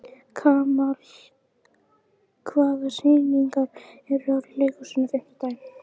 Kamal, hvaða sýningar eru í leikhúsinu á fimmtudaginn?